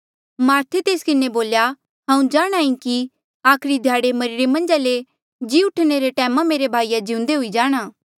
मार्थे तेस किन्हें बोल्या हांऊँ जाणहां ईं कि आखरी ध्याड़े मरिरे मन्झा ले जी उठणा रे टैमा मेरे भाईया जिउंदे हुई जाणा